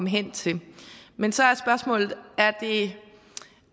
hen til men så er spørgsmålet